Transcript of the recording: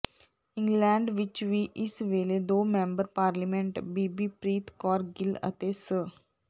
England ਵਿਚ ਵੀ ਇਸ ਵੇਲੇ ਦੋ ਮੈਂਬਰ ਪਾਰਲੀਮੈਂਟ ਬੀਬੀ ਪ੍ਰੀਤ ਕੌਰ ਗਿੱਲ ਅਤੇ ਸ